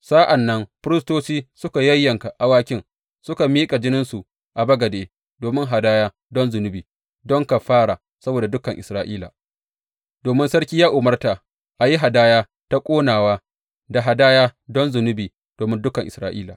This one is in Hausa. Sa’an nan firistoci suka yayyanka awakin suka miƙa jininsu a bagade domin hadaya don zunubi don kafara saboda dukan Isra’ila, domin sarki ya umarta a yi hadaya ta ƙonawa da hadaya don zunubi domin dukan Isra’ila.